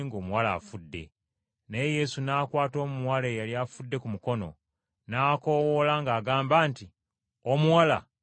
Naye Yesu n’akwata omuwala eyali afudde ku mukono, n’akoowoola ng’agamba nti, “Mwana wange, golokoka!”